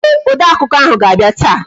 Ee, odeakụkọ ahụ ga-abịa taa